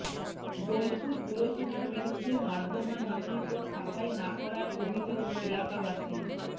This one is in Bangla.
বোলপুর পুরসভার বিরুদ্ধে নর্দমা নিয়মিত সাফাই না করার অভিযোগ এলাকাবাসীর